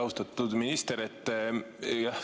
Austatud minister!